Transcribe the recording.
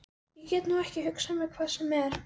Ég get nú ekki hugsað mér hvað sem er.